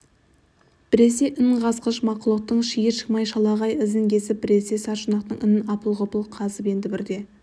біресе ін қазғыш мақұлықтың шиыр-шимай шалағай ізін кесіп біресе саршұнақтың інін апыл ғұпыл қазып енді бірде